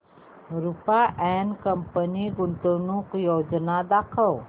Rupa and company गुंतवणूक योजना दाखव